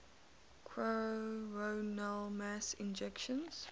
coronal mass ejections